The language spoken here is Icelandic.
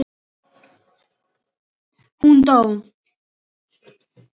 Hún dó!